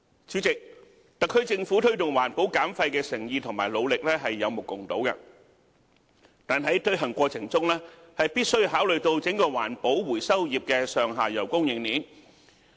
主席，特區政府推動環保減廢的誠意和努力是有目共睹的，但在推行過程中，必須考慮到整個環保回收業的上下游供應鏈。